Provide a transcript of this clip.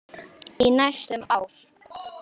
Í næstum ár.